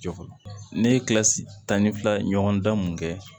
Jɔ fɔlɔ ne ye kilasi tan ni fila ɲɔgɔn dan mun kɛ